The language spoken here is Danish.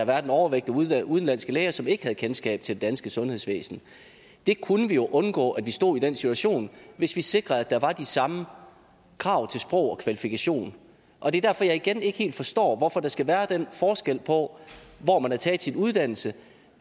været en overvægt af udenlandske læger som ikke havde kendskab til det danske sundhedsvæsen vi kunne undgå at stå i den situation hvis vi sikrede at der var de samme krav til sprog og kvalifikationer og det er derfor jeg igen ikke helt forstår hvorfor der skal være den forskel på hvor man har taget sin uddannelse